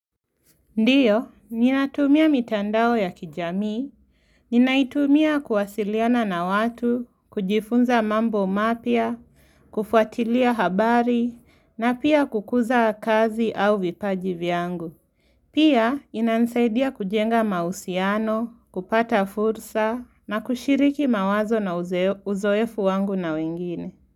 Ndio ninatumia mitandao ya kijamii, ninaitumia kuwasiliana na watu, kujifunza mambo mapya, kufuatilia habari, na pia kukuza kazi au vipaji vyangu. Pia, inansaidia kujenga mausiano, kupata fursa, na kushiriki mawazo na uzoefu wangu na wengine.